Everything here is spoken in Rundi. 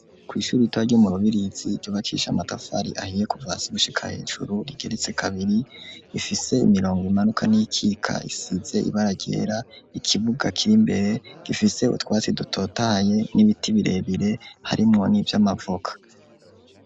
Kw'ishure ritoya ryo murubirizi ryubakishijwe amatafari ahiye kuva hasi gushhika hejuru, rigeretse kabiri ,rifise imirongo imanuka n'iyikitse isize ibara ryera , ikibuga kirimbere, gifise utwatsi dutotahaye n'ibiti birebire harimwo n'ivyamavoka.